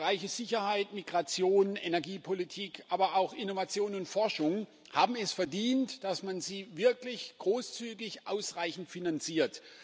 Die Bereiche Sicherheit, Migration, Energiepolitik aber auch Innovation und Forschung haben es verdient, dass man sie wirklich großzügig ausreichend finanziert.